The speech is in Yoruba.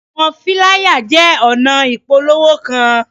Awọn filaya jẹ ọna ipolowo kan